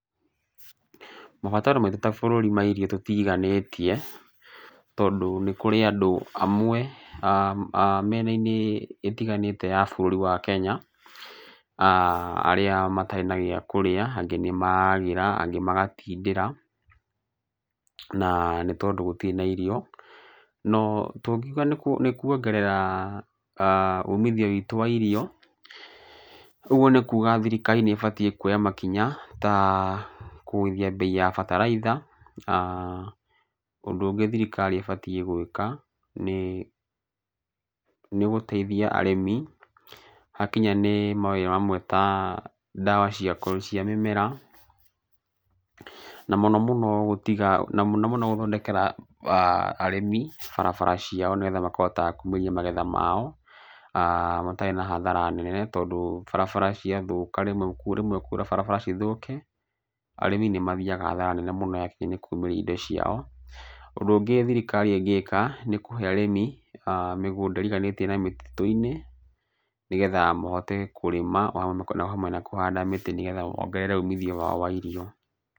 Mabataro maitũ ta bũrũri tũti iganĩtie tondũ nĩ kũrĩ andũ amwe mĩena-inĩ ĩtiganĩte ya bũrũri wa Kenya arĩa matarĩ na gĩa kũrĩa. Angĩ nĩ maragĩra, angĩ magatindĩra na nĩ tondũ gũtirĩ na irio. No tũngiuga nĩ kuongerera umithio witũ wa irio, ũguo nĩ kuga thirikari nĩ ĩbatiĩ kuoya makinya ta kũgũithia bei ya bataraitha. Na ũndũ ũngĩ thirikari ĩbatiĩ gwĩka nĩ gũteithia arĩmi ha kinya nĩ mawĩra mamwe ta ndawa cia mĩmera, na mũno mũno gũtiga, na mũno mũno gũthondekera arĩmi barabara ciao nĩgetha makahotaga kuumĩrĩa magetha mao matarĩ na hathara nene. Tondũ barabara cia thũka rĩmwe kwaura barabara cithũke, arĩmi nĩ mathiaga hathara nene mũno yakinya nĩ kumĩria indo ciao. Ũndũ ũngĩ thirikari ĩngĩka nĩ kũhe arĩmi mĩgunda ĩriganĩtie na mĩtitũ-inĩ nĩgetha mahote kũrĩma na o hamwe na kũhanda mĩtĩ nĩgetha mongerere umithio wao wa irio.